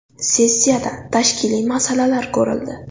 Sessiyada tashkiliy masalalar ko‘rildi.